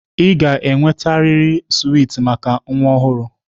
Ị ga-enwetarịrị swiiti maka nwa ọhụrụ!